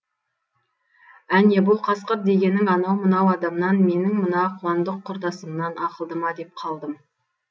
әне бұл қасқыр дегенің анау мынау адамнан менің мына қуандық құрдасымнан ақылды ма деп қалдым